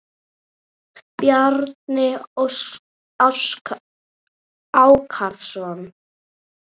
Bjarni Ákason.